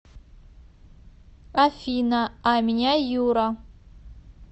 афина а меня юра